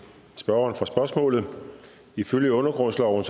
spørgeren for spørgsmålet ifølge undergrundsloven